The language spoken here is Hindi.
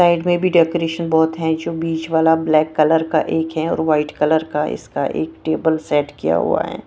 साइड में भी डेकोरेशन बहुत है जो बीच वाला ब्लैक कलर का एक है और वाइट कलर का इसका एक टेबल सेट किया हुआ है ।